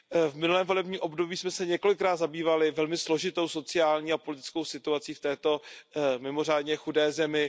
V minulém volebním období jsme se několikrát zabývali velmi složitou sociální a politickou situací v této mimořádně chudé zemi.